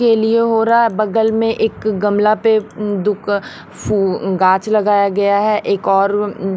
के लिए हो रहा है बगल में एक गमला पे दु क फू गाछ लगाया गया है एक और--